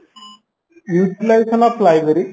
utilization of library